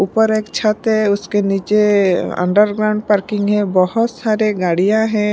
ऊपर एक छत है उसके नीचे अंडरग्राउंड पार्किंग है बहोत सारे गाड़ियाँ हैं।